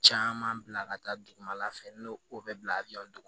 Caman bila ka taa dugumala fɛ n'o o bɛ bila a bɛ yan dugu